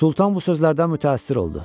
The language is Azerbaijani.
Sultan bu sözlərdən mütəəssir oldu.